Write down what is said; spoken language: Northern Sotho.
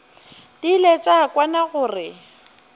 di ile tša kwana gore